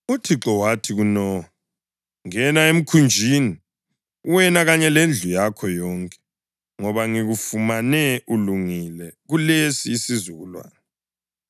UThixo wathi kuNowa, “Ngena emkhunjini, wena kanye lendlu yakho yonke, ngoba ngikufumane ulungile kulesi isizukulwane.